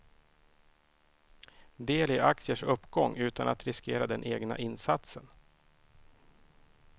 Del i aktiers uppgång utan att riskera den egna insatsen.